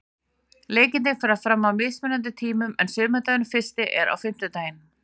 Leikirnir fara fram á mismunandi tímum en sumardagurinn fyrsti er á fimmtudaginn.